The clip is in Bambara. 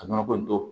Ka nɔnɔko